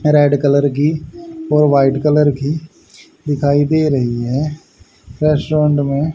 red colour की और white colour की दिखाई दे रही हैं फर्स्ट राउंड में--